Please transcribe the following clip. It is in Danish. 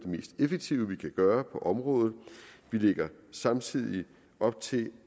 mest effektive vi kan gøre på området vi lægger samtidig op til